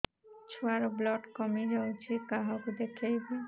ଛୁଆ ର ବ୍ଲଡ଼ କମି ଯାଉଛି କାହାକୁ ଦେଖେଇବି